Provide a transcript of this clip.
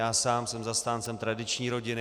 Já sám jsem zastáncem tradiční rodiny.